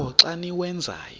qho xa niwenzayo